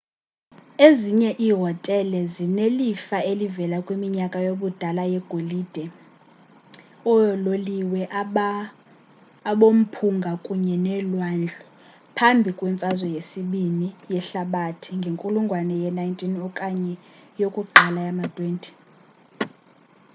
ezinye iihotele zinelifa elivela kwiminyaka yobudala yegolide yoololiwe abomphunga kunye nelwandle; phambi kwemfazwe yesibini ii yehlabathi ngenkulungwane ye-19 okanye yokuqala yama-20